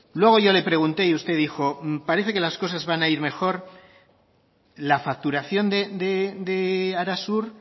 luego yo le pregunté y usted dijo parece que las cosas van a ir mejor la facturación de arasur